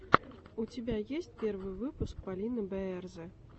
у тебя есть первый выпуск полины бээрзэ